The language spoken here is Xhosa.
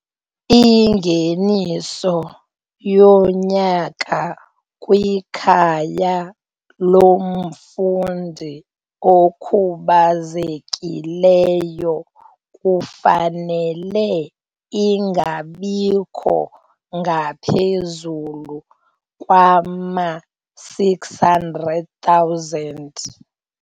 Ingeniso yonyaka kwikhaya lomfundi okhubazekileyo kufanele ingabikho ngaphezulu kwama-R600 000.